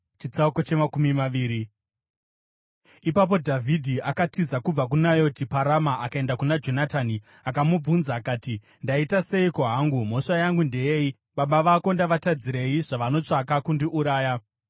Ipapo Dhavhidhi akatiza kubva kuNayoti paRama akaenda kuna Jonatani akamubvunza akati, “Ndaita seiko hangu? Mhosva yangu ndeyei? Baba vako ndavatadzirei, zvavanotsvaka kundiuraya?”